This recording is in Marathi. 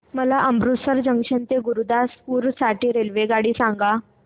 मला अमृतसर जंक्शन ते गुरुदासपुर साठी रेल्वेगाड्या सांगा